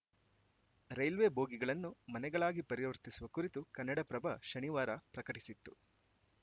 railway ಬೋಗಿಗಳನ್ನು ಮನೆಗಳಾಗಿ ಪರಿವರ್ತಿಸುವ ಕುರಿತು ಕನ್ನಡಪ್ರಭ ಶನಿವಾರ ಪ್ರಕಟಿಸಿತ್ತು